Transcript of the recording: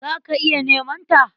Za ka iya neman ta.